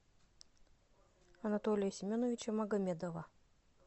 анатолия семеновича магомедова